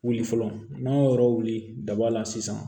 Wuli fɔlɔ n'an y'o yɔrɔ wuli daba la sisan